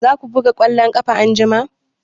Za ku buga ƙwallon ƙafa anjima?